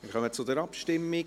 Wir kommen zur Abstimmung.